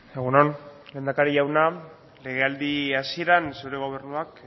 egun on lehendakari jauna lege aldi hasieran zure gobernuak